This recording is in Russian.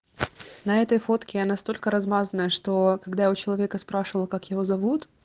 на этой фотке я настолько размазанная что когда у человека спрашивала как его зовут